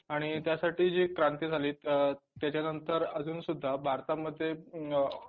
आणि त्यासाठी जी क्रांती झाली अ त्याच्यानंतर अजूनसुद्धा भारतातमध्ये